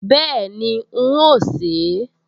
Bẹ́ẹ̀ni, n óò sè é